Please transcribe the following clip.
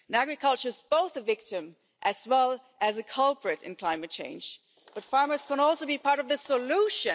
Agriculture is both a victim as well as a culprit in climate change, but farmers can also be part of the solution.